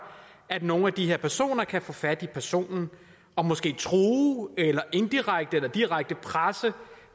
at nogle af de her personer kan få fat i personen og måske true eller indirekte eller direkte presse